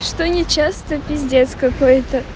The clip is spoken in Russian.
что не часто пиздец какой-то